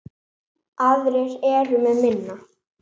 Aðrir eru með minna.